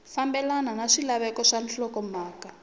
fambelena na swilaveko swa nhlokomhaka